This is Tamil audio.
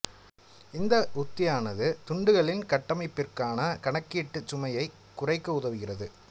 இந்த உக்தியானது துண்டுகளின் கட்டமைப்பிற்கான கணக்கீட்டுச் சுமையைக் குறைக்க உதவுகிறது